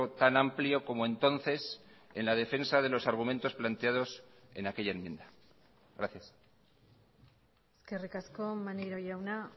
tan amplio como entonces en la defensa de los argumentos planteados en aquella enmienda gracias eskerrik asko maneiro jauna